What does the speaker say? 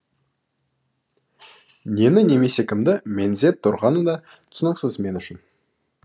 нені немесе кімді меңзеп тұрғаны да түсініксіз мен үшін